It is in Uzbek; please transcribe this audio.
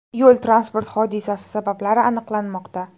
Yo‘l-transport hodisasi sabablari aniqlanmoqda.